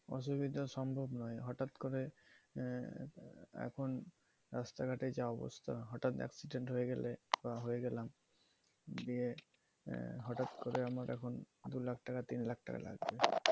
অসুবিধা, সম্ভব নয়। হঠাৎ করে আহ এখন রাস্তাঘাটে যে অবস্থা হঠাৎ accident হয়ে গেলে বা হয়ে গেলাম এর দিয়ে হঠাৎ করে আমার এখন দু lakh টাকা তিন lakh টাকা লাগবে